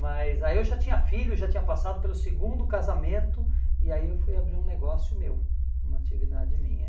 Mas aí eu já tinha filho, já tinha passado pelo segundo casamento e aí eu fui abrir um negócio meu, uma atividade minha.